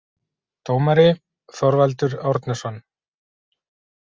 Dómari: Þorvaldur Árnason